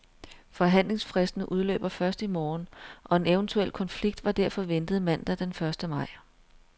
Forhandlingsfristen udløber først i morgen, og en eventuel konflikt var derfor ventet mandag den første maj.